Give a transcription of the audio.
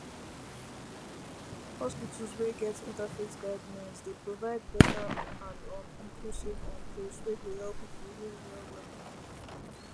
hospitals wey get interfaith guidelines dey provide better and um inclusive um place wey go help people heal well well